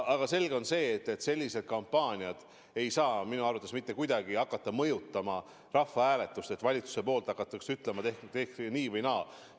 Aga selge on, et selline valitsuse kampaania ei saa minu arvates mitte kuidagi hakata mõjutama rahvahääletust, no et valitsuse poolt hakatakse ütlema, et hääletage nii või naa.